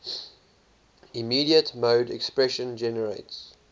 immediate mode expression generates